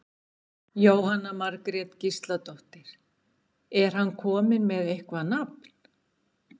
Jóhanna Margrét Gísladóttir: Er hann kominn með eitthvað nafn?